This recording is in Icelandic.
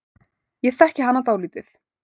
Ég þekki hana dálítið.